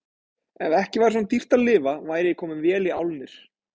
Ef ekki væri svona dýrt að lifa væri ég kominn vel í álnir.